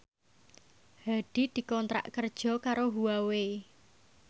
Hadi dikontrak kerja karo Huawei